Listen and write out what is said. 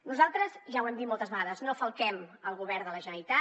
nosaltres ja ho hem dit moltes vegades no falquem el govern de la generalitat